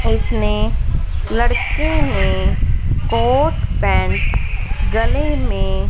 इसने लड़के ने कोट पॅन्ट गले में --